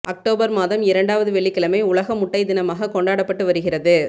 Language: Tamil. அக்டோபர் மாதம் இரண்டாவது வெள்ளிக்கிழமை உலக முட்டை தினமாக கொண்டாடப்பட்டு வருகிறது